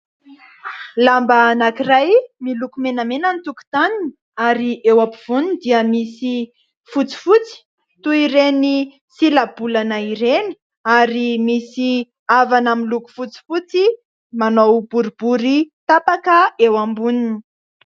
Lamba anankiray miloko menamena ny tokontaniny ary eo ampovoany dia misy fotsifotsy toy ireny silabolana ireny, ary misy havana miloko fotsifotsy manao boribory tapaka eo amboniny.